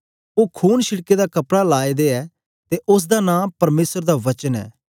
ओ खून छिड़के दा कपड़ा लाए दे ऐ ते उस्स दा नां परमेसर दा वचन ऐ